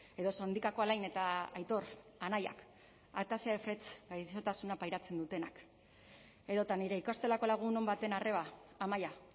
edo sondikako alain eta aitor anaiak gaixotasuna pairatzen dutenak edota nire ikastolako lagun on baten arreba amaia